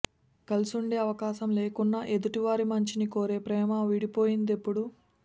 కలిసుండే అవకాశం లేకున్నా ఎదుటి వారి మంచిని కోరే ప్రేమ విడిపోయిందెప్పుడు